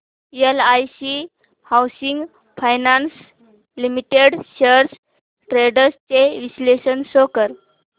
LIC housing finance limited shares trends चे विश्लेषण show कर